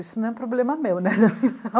Isso não é um problema meu, né?